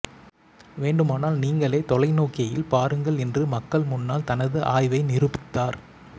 வேண்டுமானால் நீங்களே தொலைநோக்கியில் பாருங்கள் என்று மக்கள் முன்னால் தனது ஆய்வை நிரூபித்தார்